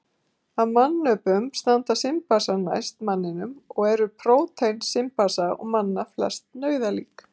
Af mannöpunum standa simpansar næst manninum og eru prótín simpansa og manna flest nauðalík.